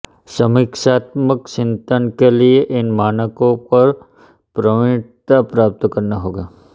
समीक्षात्मक चिन्तन के लिए इन मानकों पर प्रवीणता प्राप्त करना होगा